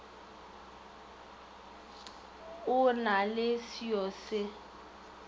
o na le seoa se